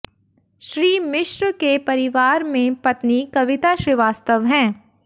श्री मिश्र के परिवार में पत्नी कविता श्रीवास्तव हैं